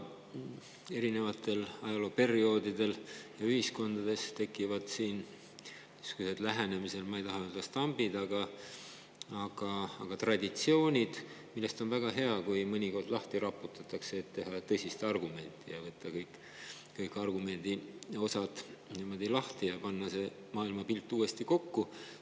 Erinevatel ajalooperioodidel tekivad ühiskondades niisugused lähenemised, ma ei taha öelda, et stambid, aga traditsioonid, mille puhul on väga hea, kui mõnikord lahti raputatakse, tõsiselt argumenteeritakse, võetakse kõik osadeks lahti ja pannakse see maailmapilt uuesti kokku.